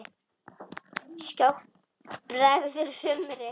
Skjótt bregður sumri.